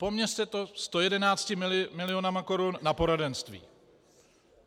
Poměřte to 111 miliony korun na poradenství.